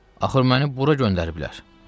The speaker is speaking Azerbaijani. Axı məni bura göndəriblər.